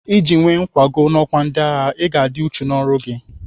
Iji nwee nkwago n'ọkwa ndịagha, Ị ga-adị uchu n'ọrụ gị.